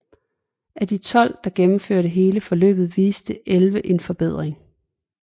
Af de 12 der gennemførte hele forløbet viste 11 en forbedring